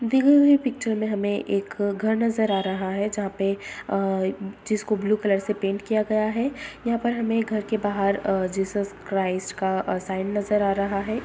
दी हुई पिक्चर में हमें एक घर नज़र आ रहा है जहाॅं पे अ जिसको ब्लू कलर से पेंट किया गया है यहाॅं पर हमें घर के बाहर अ जीसस क्राइस्ट का अ साइन नज़र आ रहा है।